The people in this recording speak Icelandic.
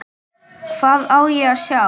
Hvað á ég að sjá?